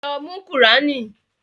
Lọ mú qùránì!